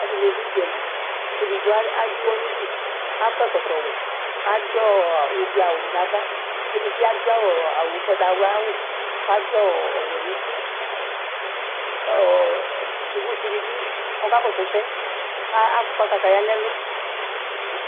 Asini dʋ udzaliKedigbo adʋ ʋwɔnudu, akɔ ɛkɔtɔ wɛAdʋ ɔɔ ublu'awu navaKedibi adu ɔɔ awu ,ʋgbatawla'wuKʋ adu ɔɔ ɔwɛ nutiKʋ ɔɔ yovotsi dibi kakɔsʋ ɛsɛ, kʋ akɔ kataya nɛlu